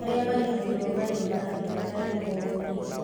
Arĩa marĩhagĩrwo marĩhi ma thibitarĩ o mweri